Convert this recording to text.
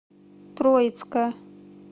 троицка